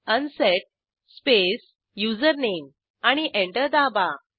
unset space username आणि एंटर दाबा